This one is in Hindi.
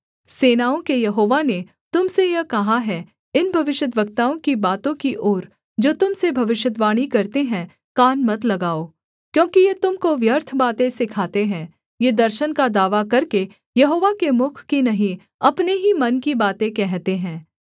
सेनाओं के यहोवा ने तुम से यह कहा है इन भविष्यद्वक्ताओं की बातों की ओर जो तुम से भविष्यद्वाणी करते हैं कान मत लगाओ क्योंकि ये तुम को व्यर्थ बातें सिखाते हैं ये दर्शन का दावा करके यहोवा के मुख की नहीं अपने ही मन की बातें कहते हैं